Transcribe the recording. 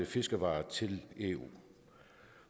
fiskevarer til eu